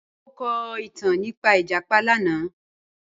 Njẹ o ko itan nipa ijapa lana?